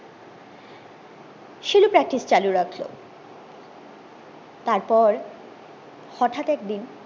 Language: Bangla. সিলু practice চালু রাখলো তারপর হটাৎ একদিন